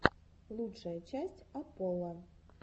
лучшая часть апполо